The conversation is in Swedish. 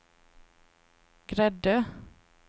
Gräddö